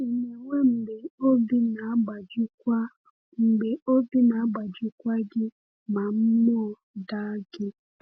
Ị na-enwe mgbe obi na-agbajikwa mgbe obi na-agbajikwa gị ma mmụọ daa gị?